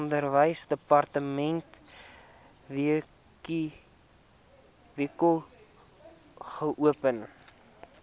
onderwysdepartement wkod geopen